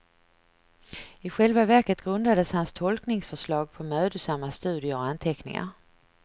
I själva verket grundades hans tolkningsförslag på mödosamma studier och anteckningar.